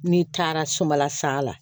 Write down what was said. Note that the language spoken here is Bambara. N'i taara sumala sa la